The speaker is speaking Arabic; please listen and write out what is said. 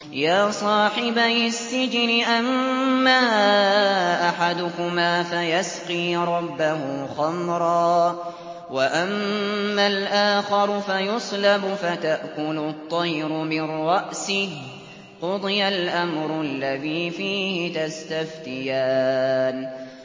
يَا صَاحِبَيِ السِّجْنِ أَمَّا أَحَدُكُمَا فَيَسْقِي رَبَّهُ خَمْرًا ۖ وَأَمَّا الْآخَرُ فَيُصْلَبُ فَتَأْكُلُ الطَّيْرُ مِن رَّأْسِهِ ۚ قُضِيَ الْأَمْرُ الَّذِي فِيهِ تَسْتَفْتِيَانِ